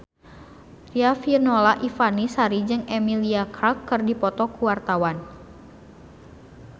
Riafinola Ifani Sari jeung Emilia Clarke keur dipoto ku wartawan